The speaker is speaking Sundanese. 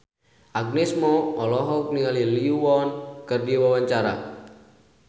Agnes Mo olohok ningali Lee Yo Won keur diwawancara